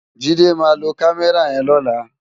Jide má ló kàmèrá yèn lòlá